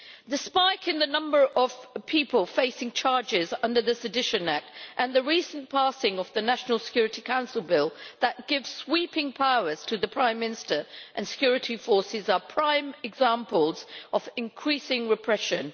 The spike in the number of people facing charges under the Sedition Act, and the recent passing of the National Security Council bill that gives sweeping powers to the Prime Minister and security forces, are prime examples of increasing repression.